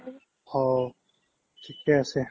অ', ঠিকে আছে